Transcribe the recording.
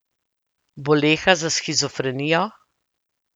Boleha za shizofrenijo.